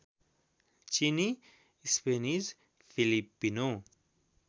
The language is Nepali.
चिनी स्पेनिस फिलिपिनो